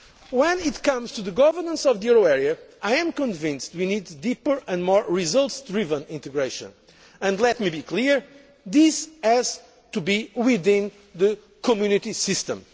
Tax. When it comes to the governance of the euro area, I am convinced we need deeper and more results driven integration, and let me be clear this has to be within the Community